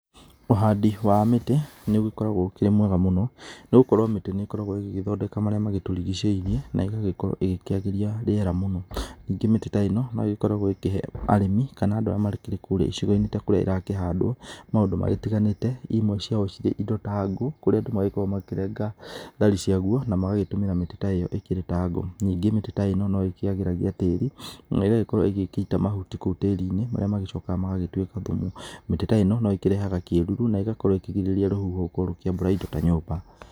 Ũhandi wa mĩtĩ, nĩũgĩkoragwo ũkĩrĩ mwega mũno, nĩgũkorwo mĩtĩ nĩ ĩkoragwo ĩgĩgĩthondeka marĩa magĩtũrigicĩirie, na ĩgagĩkorwo ĩgĩkĩagĩria rĩera mũno. Ningĩ mĩtĩ ta ĩno, nogĩkoragũo ĩkĩhe arĩmi, kana andũ arĩa makĩrĩ kũrĩa icigo-inĩ ta kũrĩa ĩrakĩhandwo maũndũ matiganĩte, imwe ciacio irĩ indo ta ngũ, kũrĩa andũ magĩkoragwo makĩrenga thari ciaguo, na magagĩtũmĩra mĩtĩ ta ĩyo ĩkĩrĩ ta ngũ. ningĩ mĩtĩ ta ĩno noĩkĩagĩragia tĩri, na ĩgagĩkorwo ĩgĩgĩita mahuti kũu tĩri-inĩ, marĩa magĩcokaga magagĩtuĩka thumu. Mĩtĩ ta ĩno, no ĩkĩrehaga kĩruru na ĩgakorwo ĩkĩgirĩrĩria rũhuho gũkorwo rũkĩambũra indo ta nyũmba.